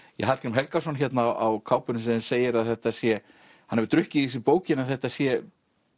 Hallgrím Helgason hérna á kápunni sem segir að þetta sé hann hafi drukkið í sig bókina þetta sé